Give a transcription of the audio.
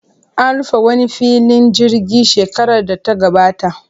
An rufe wani filin jirgi shekarar data gabata.